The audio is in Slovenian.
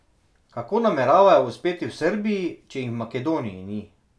Kako nameravajo uspeti v Srbiji, če jim v Makedoniji ni?